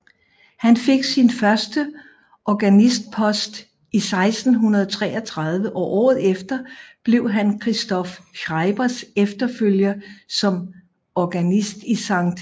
Han fik sin første organistpost i 1633 og året efter blev han Christoph Schreibers efterfølger som organist i Skt